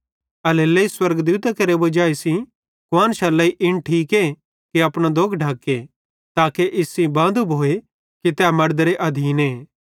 एल्हेरेलेइ स्वर्गदूतां केरे वजाई सेइं कुआन्शरे लेइ इन ठीके कि अपने दोग ढक्के ताके इस सेइं बांदू भोए कि तै मड़देरे अधीने